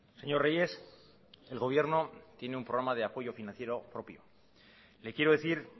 señor reyes el gobierno tiene un programa de apoyo financiero propio le quiero decir